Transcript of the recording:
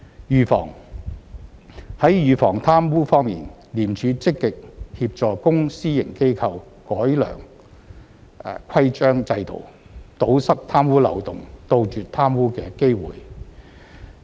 預防在預防貪污方面，廉署積極協助公私營機構改良規章制度，堵塞貪污漏洞，杜絕貪污的機會。